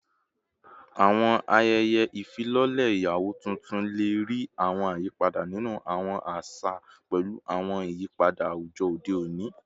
Awọn ayẹyẹ ifilọlẹ iyawo tuntun le rii awọn ayipada ninu awọn aṣa pẹlu awọn iyipada awujọ ode oni